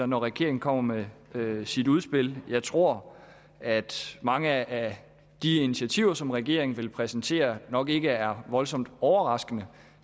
når regeringen kommer med med sit udspil jeg tror at mange af de initiativer som regeringen vil præsentere nok ikke er voldsomt overraskende